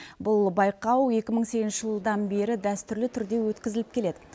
бұл байқау екі мың сегізінші жылдан бері дәстүрлі түрде өткізіліп келеді